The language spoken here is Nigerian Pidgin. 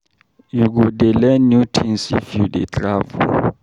You go dey learn new tins if you dey travel.